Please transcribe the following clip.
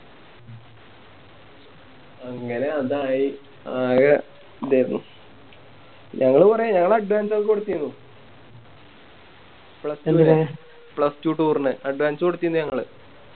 അങ്ങനെ അതായി ഞങ്ങള് കൊറേ ഞങ്ങള് Advance ഒക്കെ കൊടുത്തിന്നു plus two toure ന് Advance കൊടുത്തിന്നു ഞങ്ങള്